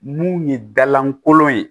Mun ye da lankolon ye